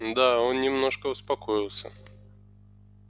да он немножко успокоился